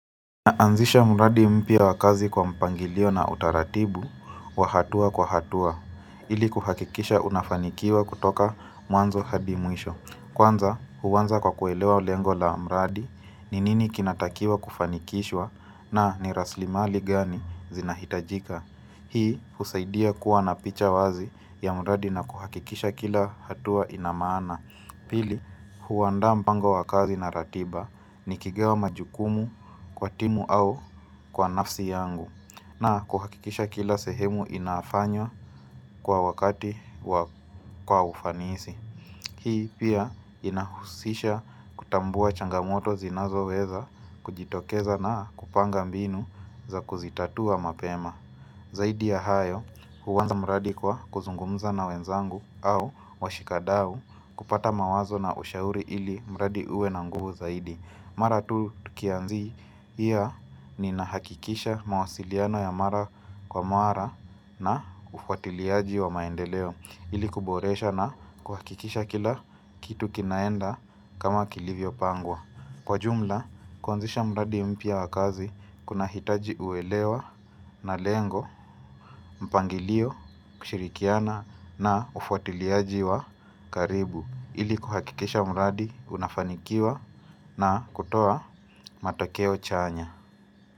Naanzisha mradi mpya wa kazi kwa mpangilio na utaratibu, wa hatua kwa hatua, ili kuhakikisha unafanikiwa kutoka mwanzo hadi mwisho. Kwanza, huanza kwa kuelewa lengo la mradi, ni nini kinatakiwa kufanikishwa na ni raslimali gani zinahitajika. Hii, husaidia kuwa na picha wazi ya mradi na kuhakikisha kila hatua ina maana. Pili, huandaa mpango wa kazi na ratiba nikigawa majukumu kwa timu au kwa nafsi yangu na kuhakikisha kila sehemu inafanywa kwa wakati kwa ufanisi Hii pia inahusisha kutambua changamoto zinazo weza kujitokeza na kupanga mbinu za kuzitatua mapema Zaidi ya hayo huanza mradi kwa kuzungumza na wenzangu au washikadau kupata mawazo na ushauri ili mradi uwe na nguvu zaidi Mara tu tukianzia ninahakikisha mawasiliano ya mara kwa mara na ufuatiliaji wa maendeleo ili kuboresha na kuhakikisha kila kitu kinaenda kama kilivyo pangwa Kwa jumla, kuanzisha mradi mpya wa kazi kunahitaji uelewa na lengo, mpangilio, kushirikiana na ufuatiliaji wa karibu ili kuhakikisha mradi unafanikiwa na kutoa matokeo chanya.